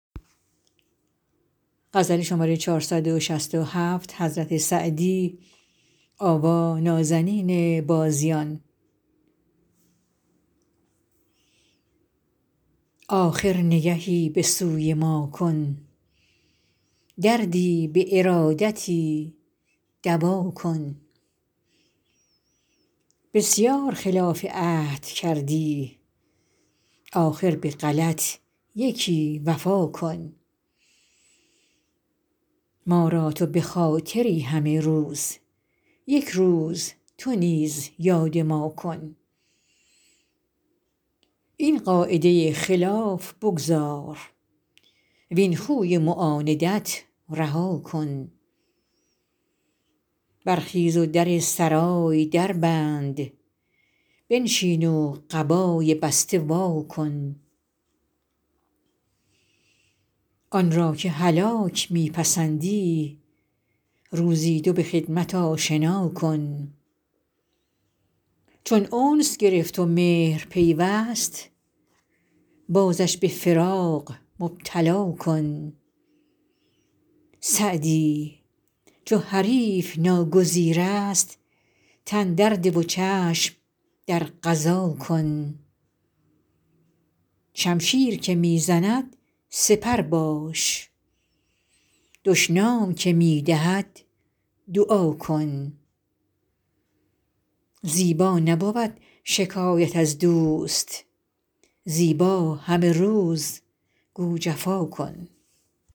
آخر نگهی به سوی ما کن دردی به ارادتی دوا کن بسیار خلاف عهد کردی آخر به غلط یکی وفا کن ما را تو به خاطری همه روز یک روز تو نیز یاد ما کن این قاعده خلاف بگذار وین خوی معاندت رها کن برخیز و در سرای در بند بنشین و قبای بسته وا کن آن را که هلاک می پسندی روزی دو به خدمت آشنا کن چون انس گرفت و مهر پیوست بازش به فراق مبتلا کن سعدی چو حریف ناگزیر است تن در ده و چشم در قضا کن شمشیر که می زند سپر باش دشنام که می دهد دعا کن زیبا نبود شکایت از دوست زیبا همه روز گو جفا کن